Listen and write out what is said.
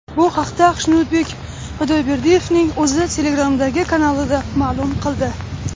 Bu haqda Xushnudbek Xudoyberdiyevning o‘zi Telegram’dagi kanalida ma’lum qildi.